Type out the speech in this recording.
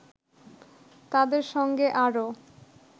তাদের সঙ্গে আরও